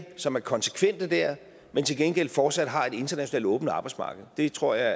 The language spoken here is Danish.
som er konsekvent der men til gengæld fortsat har et internationalt åbent arbejdsmarked det tror jeg